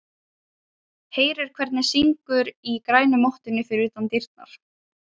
Heyrir hvernig syngur í grænu mottunni fyrir utan dyrnar.